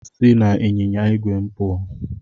Si n'ịnyịnya igwe puo